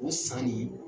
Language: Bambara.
O san nin